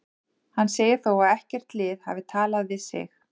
Hann segir þó að ekkert lið hafi talað við sig.